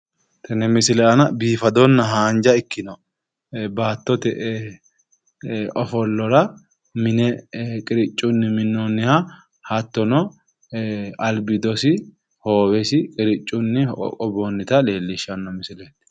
Tenne misile aana biifadonna haanja ikkinou baattote ofollora mine qiriccunni minnooha httono albiidosi abiidnsihoowesi qiriccunnu minnonnita leelishshanno misileeti.